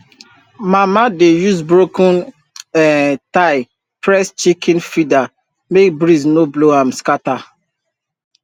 mama dey use broken um tile press chicken feeder make breeze no blow am scatter